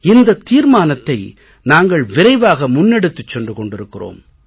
இந்த தீர்மானத்தை நாங்கள் விரைவாக முன்னெடுத்துச் சென்று கொண்டிருக்கிறோம்